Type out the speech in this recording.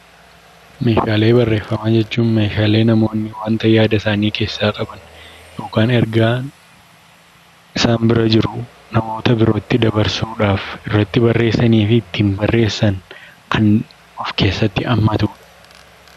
Meeshaalee barreeffamaa jechuun meeshaalee namoonni waanta yaada isaanii keessaa qaban yookaan ergaan isaan bira jiru namoota birootti dabarsuudhaaf irratti barreessanii fi ittiin barreessan kan of keessatti hammatudha.